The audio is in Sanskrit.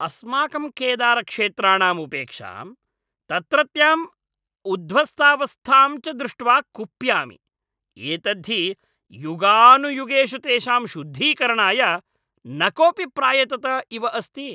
अस्माकं केदारक्षेत्राणाम् उपेक्षां, तत्रत्यां उध्वस्तावस्थां च दृष्ट्वा कुप्यामि। एतद्धि युगानुयुगेषु तेषां शुद्धीकरणाय न कोऽपि प्रायतत इव अस्ति।